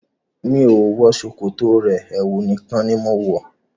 Mi ò wọ ṣòkòtò rẹ, ẹwu rẹ̀ nìkan ni mo ń wọ.